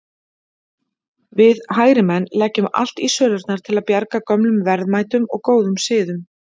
Við hægrimenn leggjum allt í sölurnar til að bjarga gömlum verðmætum og góðum siðum.